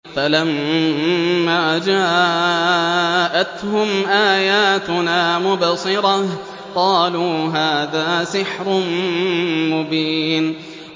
فَلَمَّا جَاءَتْهُمْ آيَاتُنَا مُبْصِرَةً قَالُوا هَٰذَا سِحْرٌ مُّبِينٌ